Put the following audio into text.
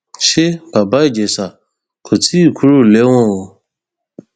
sa bàbá ìjẹsà kò tí ì kúrò lẹwọn o